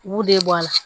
U b'u de bɔ a la